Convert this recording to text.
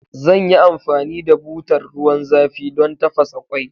Zan yi amfani da butar ruwan zafi don tafasa ƙwai.